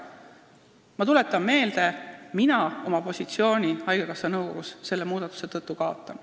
Ma tuletan meelde, et mina kaotan selle muudatuse tõttu oma positsiooni haigekassa nõukogus.